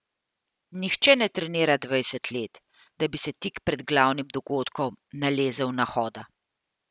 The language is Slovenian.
Nihče ne trenira dvajset let, da bi se tik pred glavnim dogodkom nalezel nahoda.